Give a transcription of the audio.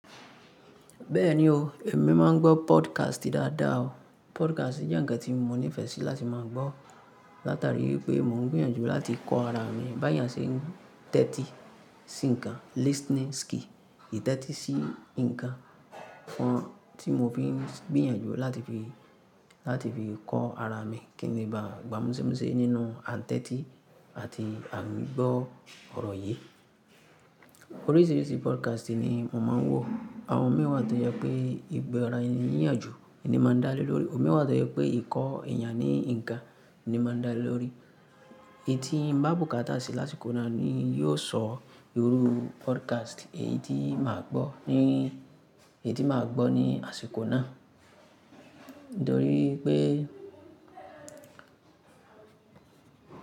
Bẹ́ẹ̀ni o, èmi máa ń gbọ́ podcast dáadáa o. Podcast jẹ́ ǹkan tí mo nífẹsí láti máa gbọ́, látari pé mò ń gbìyànjú láti kọ́ ara mi, bí èèyàn ṣe ń tẹ́tí sí nǹkan listening skill, ìtẹ́tí sí nǹkan kan tí mo fi ń gbìyànjú láti fi, láti fi kọ́ ara mi kí ni bá gbámúṣúmúṣe nínú àtẹ́tí àti àgbọ́ ọ̀rọ̀ yé. Oríṣìíríṣìí podcast ni mo máa ń wò. Àwọn mìíràn tó jẹ́ pé ìgbà ara ẹní ìyànjù ni mo máa dá lé lórí, òmi mìíràn tó jẹ́ pé ìkọ́ ẹ̀yàn ní nǹkan ni mo máa dá lé lórí. Ntíbá bùkátà sí lásìkò náà ni yó sọ irú podcast èyí tí màá gbọ́ ní, èyí tí màá gbọ́ ní àsìkò náà. Nítorí pé.